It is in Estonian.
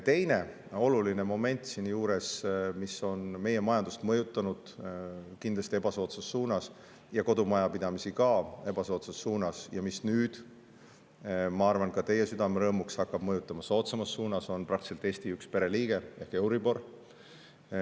Teine oluline moment siin juures, mis on meie majandust ja ka kodumajapidamisi kindlasti ebasoodsas suunas mõjutanud ja mis nüüd, ma arvan, hakkab ka teie südame rõõmuks meid soodsamas suunas mõjutama, on praktiliselt Eesti üks pereliige ehk euribor.